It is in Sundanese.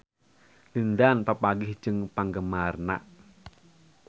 Lin Dan papanggih jeung penggemarna